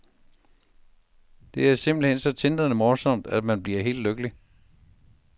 Det er simpelthen så tindrende morsom, at man bliver helt lykkelig.